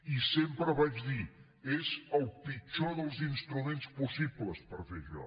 i sempre vaig dir és el pitjor dels instruments possibles per fer això